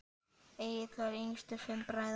Egill var yngstur fimm bræðra.